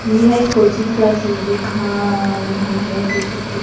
यह एक coaching classes दिखा रहा है जैसे की--